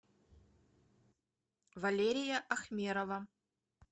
валерия ахмерова